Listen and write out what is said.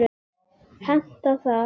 Hentar það?